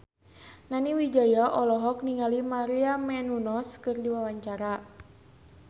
Nani Wijaya olohok ningali Maria Menounos keur diwawancara